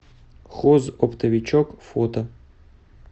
хозоптовичок фото